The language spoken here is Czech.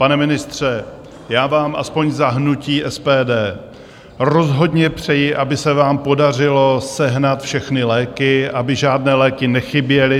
Pane ministře, já vám aspoň za hnutí SPD rozhodně přeji, aby se vám podařilo sehnat všechny léky, aby žádné léky nechyběly.